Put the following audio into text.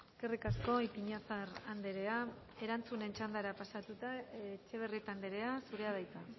eskerrik asko ipiñazar andrea erantzunen txandara pasatuta etxebarrieta andrea zurea da hitza